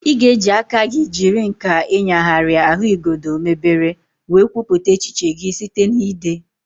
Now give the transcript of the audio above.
Ị ga-eji aka gị jiri nkà ịnyagharịa ahụigodo mebere wee kwupụta echiche gị site na ide.